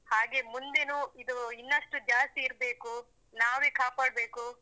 ಹಾಗೆ ಮುಂದೆನು ಇದು ಇನ್ನಷ್ಟು ಜಾಸ್ತಿ ಇರಬೇಕು, ನಾವೇ ಕಾಪಾಡಬೇಕು.